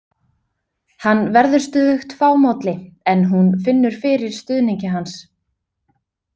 Hann verður stöðugt fámálli en hún finnur fyrir stuðningi hans.